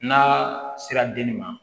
N'a sera denni ma